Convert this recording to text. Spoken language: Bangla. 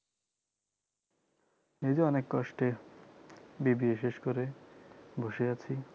এইযে অনেক কষ্টে BBA শেষ করে বসে আছি